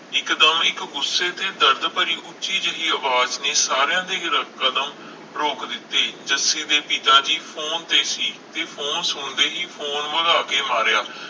ਇਕ ਦਮ ਇਕ ਗੁੱਸੇ ਦੀ ਦਰਦ ਭਰੀ ਉੱਚੀ ਜਿਹੀ ਅਵਾਜ ਨੇ ਸਾਰਿਆਂ ਦੇ ਕਦਮ ਰੋਕ ਦਿਤੇ ਜੱਸੀ ਦੇ ਪਿਤਾ ਜੀ ਫੋਨ ਤੇ ਸੀ ਤੇ ਫੋਨ ਸੁਣਦੇ ਹੀ ਫੋਨ ਵਗਾਹ ਕੇ ਮਾਰਿਆ